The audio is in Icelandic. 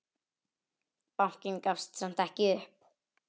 Bankinn gafst samt ekki upp.